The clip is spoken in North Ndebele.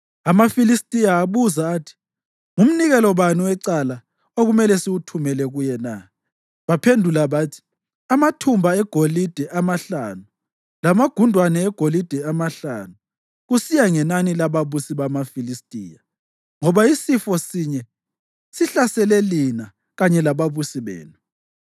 AmaFilistiya abuza athi, “Ngumnikelo bani wecala okumele siwuthumele kuye na?” Baphendula bathi, “Amathumba egolide amahlanu lamagundwane egolide amahlanu, kusiya ngenani lababusi bamaFilistiya, ngoba isifo sinye sihlasele lina kanye lababusi benu.”